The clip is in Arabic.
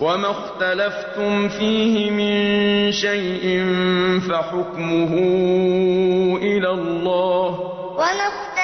وَمَا اخْتَلَفْتُمْ فِيهِ مِن شَيْءٍ فَحُكْمُهُ إِلَى اللَّهِ ۚ